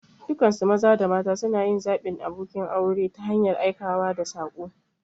Dukansu maza da mata suna yin zaɓin abokin aure ta hanyar aikawa da saƙo.